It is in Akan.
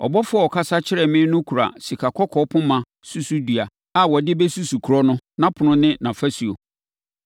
Ɔbɔfoɔ a ɔkasa kyerɛɛ me no kura sikakɔkɔɔ poma susudua a wɔde bɛsusu kuro no, nʼapono ne nʼafasuo.